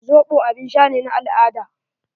Zoɓo abin sha ne na al-ada.